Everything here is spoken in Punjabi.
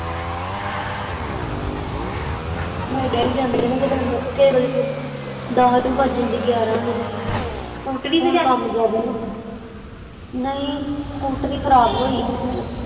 ਮੇਰੇ ਡੈਡੀ ਜਾਂਦੇ ਨਾ ਤੇ ਕਿਸੇ ਵੇਲੇ ਫੇਰ ਦੱਸ ਵੀ ਵੱਜ ਜਾਂਦੇ ਗਿਆਰਾਂ ਵੀ ਸਕੂਟਰੀ ਤੇ ਜਾਂਦੇ ਹੁਣ ਕੰਮ ਜ਼ਿਆਦਾ ਨਾ ਨਹੀਂ ਸਕੂਟਰੀ ਖਰਾਬ ਹੋਈ